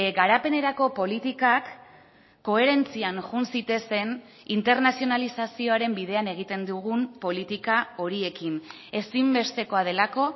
garapenerako politikak koherentzian joan zitezen internazionalizazioaren bidean egiten dugun politika horiekin ezinbestekoa delako